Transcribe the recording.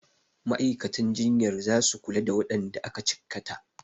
Ma'aikatan jinyar zasu kula da waɗanda aka cikkata.